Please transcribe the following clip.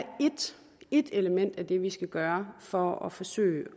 ét element af det vi skal gøre for at forsøge